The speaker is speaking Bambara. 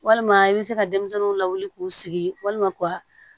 Walima i bɛ se ka denmisɛnninw lawuli k'u sigi walima ka